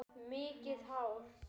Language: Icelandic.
Mikið hár?